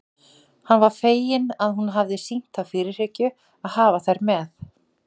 Hann var feginn að hún hafði sýnt þá fyrirhyggju að hafa þær með.